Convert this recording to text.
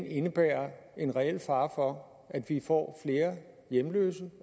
indebærer en reel fare for at vi får flere hjemløse